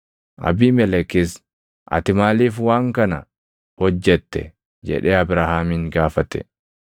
Abiimelekis “Ati maaliif waan kana hojjette?” jedhee Abrahaamin gaafate.